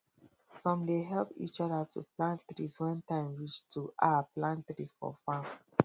some dey help each other to plant trees when time reach to um plant trees for farm